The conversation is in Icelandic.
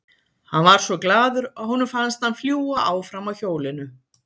Hann var svo glaður að honum fannst hann fljúga áfram á hjólinu.